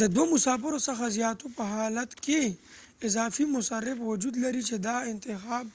د دوه مسافرو څخه زیاتو په حالت کې اضافي مصرف وجود لري چې دا انتخاب